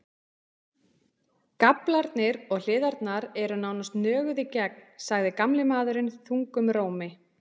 Gaflarnir og hliðarnar eru nánast nöguð í gegn, sagði gamli maðurinn þungum rómi.